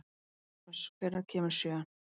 Erasmus, hvenær kemur sjöan?